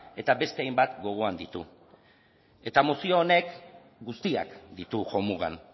eta beste hainbat gogoan ditu eta mozio honek guztiak ditu jo mugan